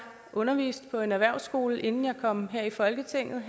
underviste på en erhvervsskole inden jeg kom her i folketinget